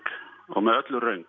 og með öllu röng